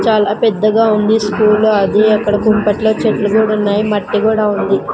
చాలా పెద్దగా ఉంది స్కూలు అది అక్కడ కుంపట్లో చెట్లు కూడున్నాయ్ మట్టి కూడా ఉంది.